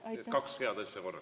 Nii et kaks head asja korraga.